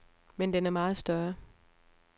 Men den er meget større.